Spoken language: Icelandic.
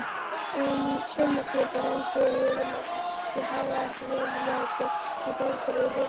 Saumaklúbbarnir enduðu yfirleitt í hávaðarifrildi út af einhverju rugli.